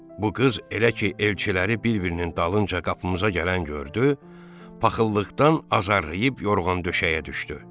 Bu qız elə ki elçiləri bir-birinin dalınca qapımıza gələn gördü, paxıllıqdan azarlayıb yorğan-döşəyə düşdü.